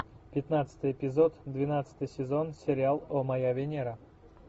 пятнадцатый эпизод двенадцатый сезон сериал о моя венера